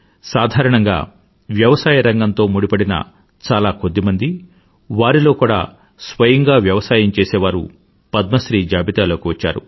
సాధారణంగా వ్యవసాయ రంగంతో ముడిపడిన చాలా కొద్ది మంది వారిలో కూడా స్వయంగా వ్యవసాయం చేసేవారు పద్మశ్రీ జాబితాలోకి వచ్చారు